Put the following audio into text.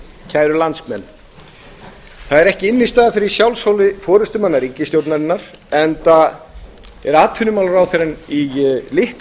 kæru landsmenn það er ekki innstæða fyrir sjálfshóli forustumanna ríkisstjórnarinnar enda er atvinnumálaráðherrann í litlu